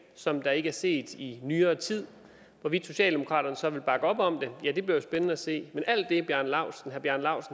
som der ikke er set i nyere tid hvorvidt socialdemokraterne så vil bakke op om det bliver jo spændende at se men alt det herre bjarne laustsen